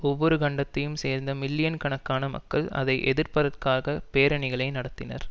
ஒவ்வொரு கண்டத்தையும் சேர்ந்த மில்லியன் கணக்கான மக்கள் அதை எதிர்ப்பதற்காக பேரணிகளை நடத்தினர்